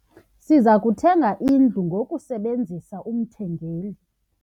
Siza kuthenga indlu ngokusebenzisa umthengeli.